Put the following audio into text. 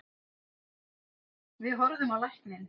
Við horfðum á lækninn.